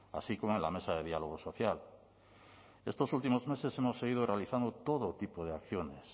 así como en la mesa de diálogo social estos últimos meses hemos seguido realizando todo tipo de acciones